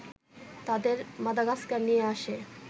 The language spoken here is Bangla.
তাদের মাদাগাস্কার নিয়ে আসে